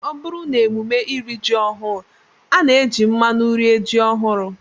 Ọ bụrụ n'emume iri ji ọhụụ, a na-eji mmanụ rie ji ọhụrụ